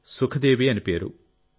సుఖదేవి అనే పేరు